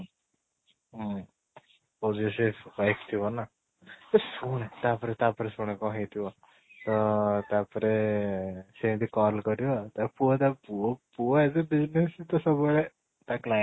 ହୁଁ ହଉଚି ସେ ଥିବ ନା ବେ ଶୁଣେ ତା ପରେ ତା ପରେ ଶୁଣେ କଣ ହେଇ ଥିବ ତ ତା ପରେ ସେ ଏମିତି call କରିବ ତା ପୁଅ ତାକୁ ପୁଅ ପୁଅ ଏବେ business ସବୁ ବେଳେ ତା client